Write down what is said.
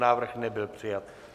Návrh nebyl přijat.